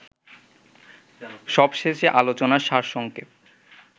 সবশেষে আলোচনার সারসংক্ষেপ